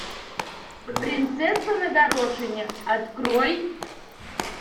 принцесса на горошине открой